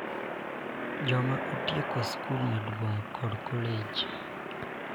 Joma otieko skul maduong' kod kolej